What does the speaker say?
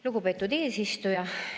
Lugupeetud eesistuja!